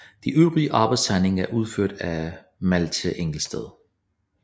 De øvrige arbejdstegninger er udført af Malthe Engelsted